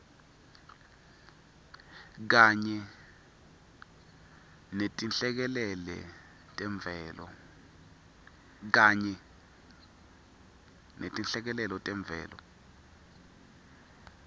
kanye netinhlekelele temvelo